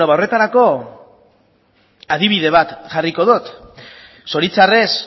beno ba horretarako adibide bat jarriko dut zoritxarrez